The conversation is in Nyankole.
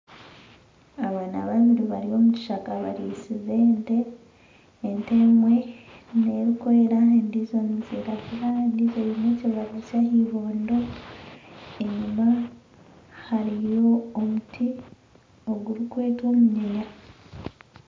Abaana babiri bari omu kishaka barisize ente ente emwe nerikwera endiijo neyiragura endiijo eyine ekibara kyahibondo enyuma hariyo omuti ogurikwetwa omunyinya